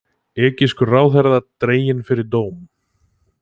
Egypskur ráðherra dreginn fyrir dóm